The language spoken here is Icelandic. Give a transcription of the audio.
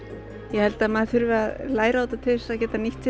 ég held að maður þurfi að læra á þetta til þess að geta nýtt